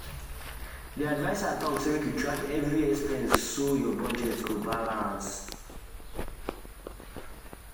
the adviser talk say make you track every expense so your budget go balance.